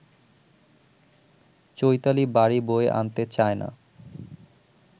চৈতালি বাড়ি বয়ে আনতে চায় না